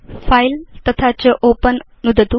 file तथा च open नुदतु